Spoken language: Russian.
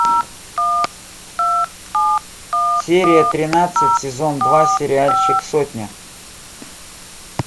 серия тринадцать сезон два сериальчик сотня